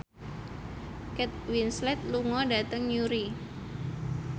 Kate Winslet lunga dhateng Newry